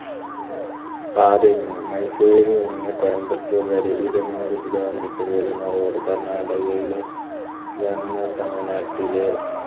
മയസൂരിൽ നിന്ന് കയമ്പത്തൂർ വരെ ഇരുന്നൂറ് kilo metre വരുന്ന road കർണാടകയിലെ തമിഴ്‌നാട്ടിലെ